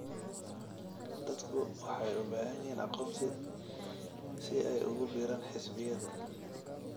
Dadku waxay u baahan yihiin aqoonsi si ay ugu biiraan xisbiyada.